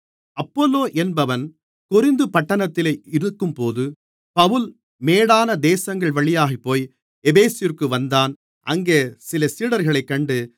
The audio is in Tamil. அப்பொல்லோ என்பவன் கொரிந்து பட்டணத்திலே இருக்கும்போது பவுல் மேடான தேசங்கள்வழியாகப்போய் எபேசுவிற்கு வந்தான் அங்கே சில சீடர்களைக் கண்டு